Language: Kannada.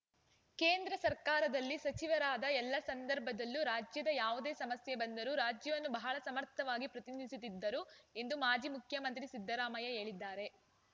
ಕೇಂದ್ರ ಸರ್ಕಾರದಲ್ಲಿ ಸಚಿವರಾದ ಎಲ್ಲ ಸಂದರ್ಭದಲ್ಲೂ ರಾಜ್ಯದ ಯಾವುದೇ ಸಮಸ್ಯೆ ಬಂದರೂ ರಾಜ್ಯವನ್ನು ಬಹಳ ಸಮರ್ಥವಾಗಿ ಪ್ರತಿನಿಧಿಸುತ್ತಿದ್ದರು ಎಂದು ಮಾಜಿ ಮುಖ್ಯಮಂತ್ರಿ ಸಿದ್ದರಾಮಯ್ಯ ಹೇಳಿದ್ದಾರೆ